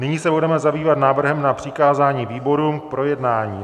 Nyní se budeme zabývat návrhem na přikázání výborům k projednání.